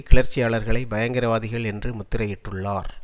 கிளர்ச்சியாளர்களை பயங்கரவாதிகள் என்று முத்திரையிட்டுள்ளார்